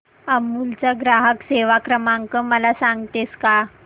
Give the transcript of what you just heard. अमूल चा ग्राहक सेवा क्रमांक मला सांगतेस का